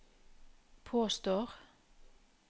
påstår